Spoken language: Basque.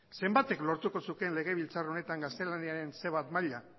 zenbatek lortuko zuten legebiltzar honetan gaztelaniaren ce bat maila